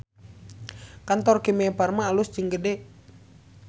Kantor Kimia Farma alus jeung gede